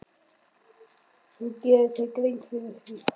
Þú gerir þér grein fyrir því.